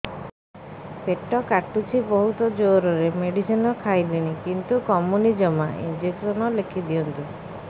ପେଟ କାଟୁଛି ବହୁତ ଜୋରରେ ମେଡିସିନ ଖାଇଲିଣି କିନ୍ତୁ କମୁନି ଜମା ଇଂଜେକସନ ଲେଖିଦିଅନ୍ତୁ